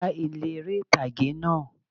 Gbá ilé eré ìtàgé náà